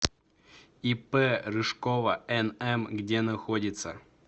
ип рыжкова нм где находится